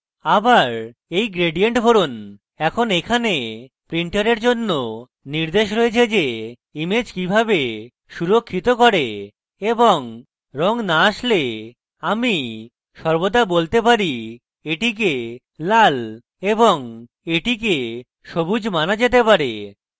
আবার এই gradient ভরুন এখন এখানে printer জন্য নির্দেশ রয়েছে যে image কিভাবে সুরক্ষিত করে এবং red না আসলে আমি সর্বদা বলতে পারি এটিকে লাল এবং এটিকে সবুজ মানা যেতে পারে